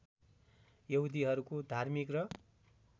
यहुदीहरूको धार्मिक र